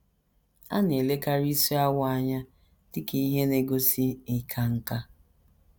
A na - elekarị isi awọ anya dị ka ihe na - egosi ịka nká.